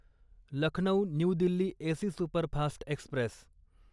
Lucknow new Delhi AC superfast Express